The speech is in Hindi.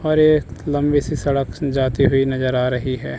और ये लंबी सी सड़क जाती हुई नजर आ रही है।